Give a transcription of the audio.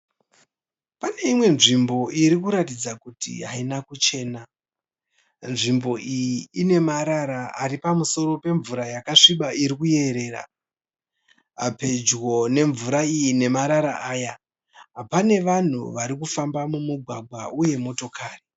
Pane imwe nzvimbo irikuratidza kuti haina kuchena. Nzvimbo iyi ine marara ari pamusoro pemvura yakasviba irikuyerera. Pedyo nemvura iyi nemarara aya pane vanhu varikufamba mumugwagwa uye motokari.